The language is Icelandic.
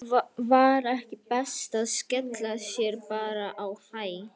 Var ekki best að skella sér bara á Hæ?